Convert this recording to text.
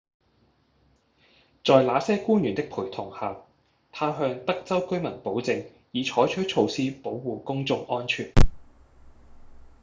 在那些官員的陪同下他向德州居民保證已採取措施保護公眾安全